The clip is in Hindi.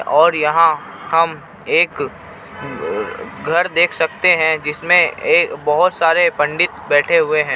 और यहाँ हम एक घर देख सकते हे जिसमे ए बोहोत सारे पंडित बैठे हुए हे.